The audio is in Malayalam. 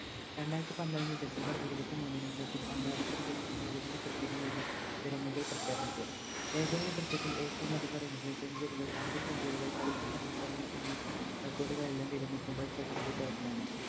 രണ്ടാരത്തിപന്ത്രണ്ട് December ഇരുപത്തിമൂന്നിന് സച്ചിൻ അന്താരാഷ്ട്ര ക് ഏകദിന Cricket ഇൽ നിന്നും വിരമികൽ പ്രഘ്യാപിച്ചു ഏകദിന Cricket ഇൽ എറ്റോമതികം Runs century കൾ അർദ്ധ Century കൾ കളിച്ച സമയത്ത് അല്ലെങ്കിൽ എന്നി Record കൾ എല്ലാം വിരമിക്കുമ്പോൾ സച്ചിൻറെ പേരിലാണ്